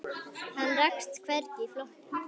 Hann rakst hvergi í flokki.